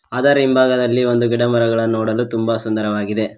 ಅದರ ಹಿಂಭಾಗದಲ್ಲಿ ಒಂದು ಗಿಡಮರಗಳನ್ನು ನೋಡಲು ತುಂಬ ಸುಂದರವಾಗಿದೆ.